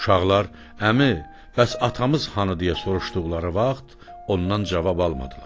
Uşaqlar, “Əmi, bəs atamız hanı?” deyə soruşduqları vaxt ondan cavab almadılar.